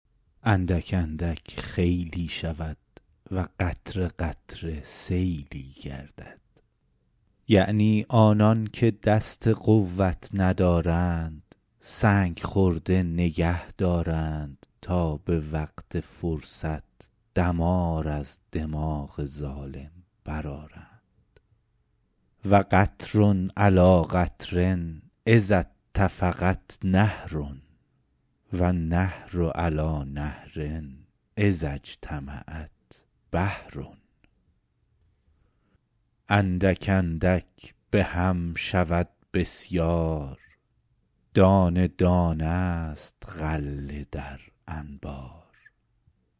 اندک اندک خیلی شود و قطره قطره سیلی گردد یعنی آنان که دست قوت ندارند سنگ خرده نگه دارند تا به وقت فرصت دمار از دماغ ظالم برآرند و قطر علیٰ قطر اذا اتفقت نهر و نهر علیٰ نهر اذا اجتمعت بحر اندک اندک به هم شود بسیار دانه دانه است غله در انبار